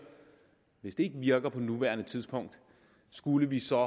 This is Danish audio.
hvis det ikke virker på nuværende tidspunkt skulle vi så